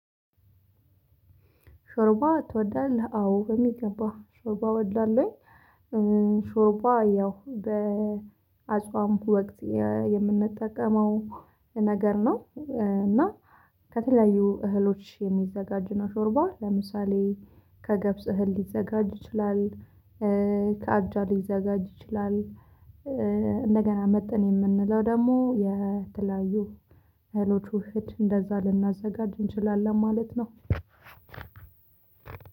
ሾርባ ትወዳለህ? አዎ በሚገባህ ሾርባ ወድላለሁኝ። ሾርባ ያው በአጽዋም ወቅት የምንጠቀመው ነገር ነው እና ከተለያዩ እህሎች የሚዘጋጅ ነው። ሾርባ ለምሳሌ ከገብስ እህል ሊዘጋጅ ይችላል። ከአጃ ሊዘጋጅ ይችላል። እንደገና መጥን የምንለው ደግሞ የተለያዩ ህልውት ውህድ እንደዛ ልናዘጋጅ እንችላለን ማለት ነው።